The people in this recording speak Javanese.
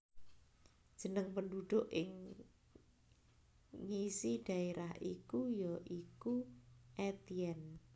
Jeneng penduduk ing ngisi daerah iku ya iku Etienne